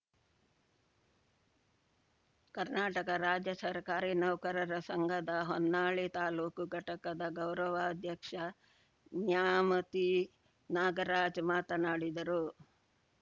ಕರ್ನಾಟಕ ರಾಜ್ಯ ಸರ್ಕಾರಿ ನೌಕರರ ಸಂಘದ ಹೊನ್ನಾಳಿ ತಾಲೂಕು ಘಟಕದ ಗೌರವಾಧ್ಯಕ್ಷ ನ್ಯಾಮತಿ ನಾಗರಾಜ್‌ ಮಾತನಾಡಿದರು